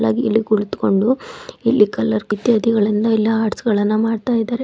ಇಲ್ಲಿ ಕುಳಿತ್ಕೊಂಡು ಇಲ್ಲಿ ಕಲರ್ ಇತ್ಯಾದಿಗಳನ್ನ ಎಲ್ಲಾ ಆರ್ಟ್ಸಗಳನ್ನ ಮಾಡ್ತಾಯ್ದರೆ.